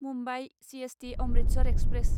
Mumbai CST Amritsar express